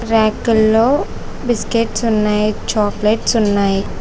ర్యాకెల్లో biscuits ఉన్నాయి chocolates ఉన్నాయి.